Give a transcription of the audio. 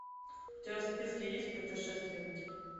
у тебя в списке есть путешественники